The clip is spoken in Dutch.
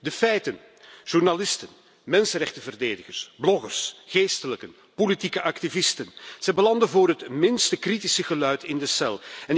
De feiten journalisten, mensenrechtenverdedigers, bloggers, geestelijken, politieke activisten, zij belanden voor het minste kritische geluid in de cel.